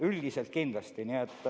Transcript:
Üldiselt kindlasti!